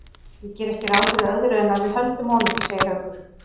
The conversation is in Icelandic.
Ég geri ekki ráð fyrir öðru en að við höldum honum, segir Haukur.